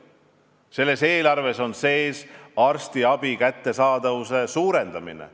Selles eelarves on sees arstiabi kättesaadavuse parandamine.